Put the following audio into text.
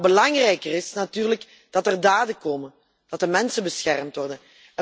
Maar belangrijker is natuurlijk dat er daden komen, dat de mensen beschermd worden.